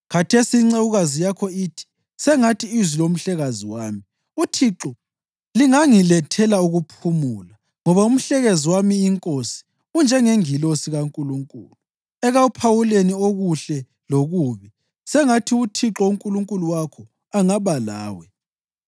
Khathesi incekukazi yakho ithi, ‘Sengathi izwi lomhlekazi wami, uThixo lingangilethela ukuphumula, ngoba umhlekazi wami, inkosi unjengengilosi kaNkulunkulu ekuphawuleni okuhle lokubi. Sengathi uThixo uNkulunkulu wakho angaba lawe.’ ”